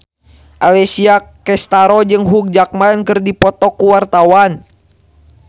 Alessia Cestaro jeung Hugh Jackman keur dipoto ku wartawan